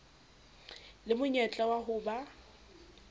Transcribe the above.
le monyetla wa ho ba